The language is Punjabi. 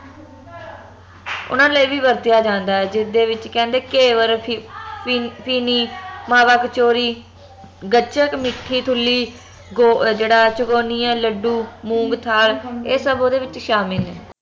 ਓਹਨਾ ਲਈ ਵੀ ਵਰਤਿਆ ਜਾਂਦਾ ਜਿਸਦੇ ਵਿਚ ਕਹਿੰਦੇ ਘੇਵਰ ਫੀ ਫਿਨੀ ਮਾਵਾ ਕਚੋਰੀ ਗੱਚਕ ਮੀਠੀ ਠੁਲੀ ਗੋ ਜੇਹੜਾ ਚਕੋਣੀਆਂ ਲੱਡੂ ਮੂੰਗ ਥਾਲ ਏਹ ਸਬ ਓਂਹਦੇ ਵਿਚ ਸ਼ਾਮਿਲ ਨੇ